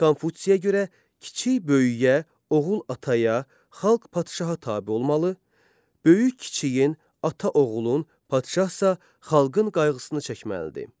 Konfutsiyə görə kiçik böyüyə, oğul ataya, xalq padşaha tabe olmalı, böyük kiçiyin, ata oğlun, padşahsa xalqın qayğısını çəkməlidir.